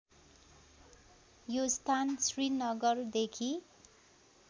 यो स्थान श्रीनगरदेखि